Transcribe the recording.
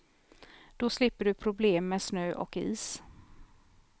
Då slipper du problem med snö och is.